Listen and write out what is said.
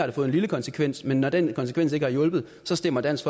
det fået en lille konsekvens men når den konsekvens ikke har hjulpet så stemmer dansk